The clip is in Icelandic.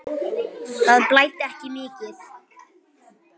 Það blæddi ekki mikið.